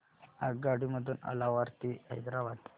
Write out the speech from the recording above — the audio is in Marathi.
आगगाडी मधून अलवार ते हैदराबाद